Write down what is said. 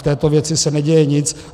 V této věci se neděje nic.